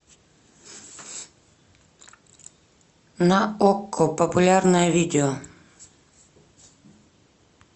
на окко популярное видео